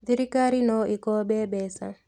Thirikarĩ no ĩkombe mbeca